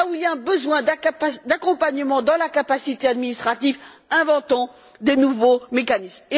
Là où il y a un besoin d'accompagnement dans la capacité administrative, inventons des nouveaux mécanismes.